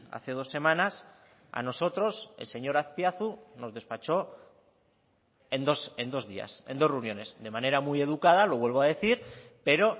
hace dos semanas a nosotros el señor azpiazu nos despachó en dos días en dos reuniones de manera muy educada lo vuelvo a decir pero